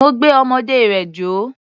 Mo gbé ọmọdé rẹ̀ jó.